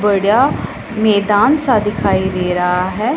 बड़ा मेदान सा दिखाई दे रहा है।